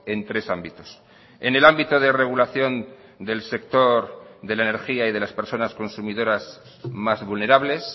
en tres ámbitos en el ámbito de regulación del sector de la energía y de las personas consumidoras más vulnerables